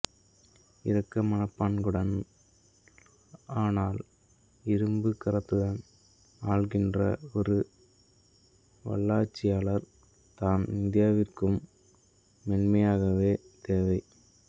இரக்க மனப்பாங்குடன் ஆனால் இரும்புக் கரத்துடன் ஆள்கின்ற ஒரு வல்லாட்சியாளர் தான் இந்தியாவிற்கும் மெய்யாகவே தேவை